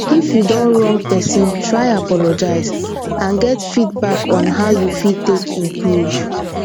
if you don wrong person try apologize and get feedback on how you fit take improve